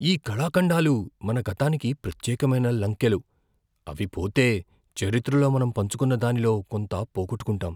ఈ కళాఖండాలు మన గతానికి ప్రత్యేకమైన లంకెలు, అవి పోతే, చరిత్రలో మనం పంచుకున్న దానిలో కొంత పోగొట్టుకుంటాం.